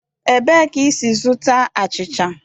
Ebee ka i si zụta achịcha?